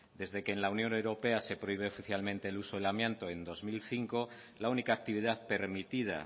desde que en la unión europea se prohíbe oficialmente el uso del amianto en dos mil cinco la única actividad permitida